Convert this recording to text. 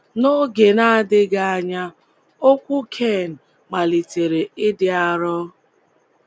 N’oge na-adịghị ányà ụkwụ Ken malitere ịdị arọ